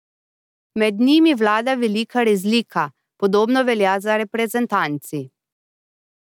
Med njima vlada velika razlika, podobno velja za reprezentanci.